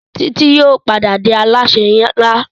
Titi yóò pàdà dì Alásè nlá.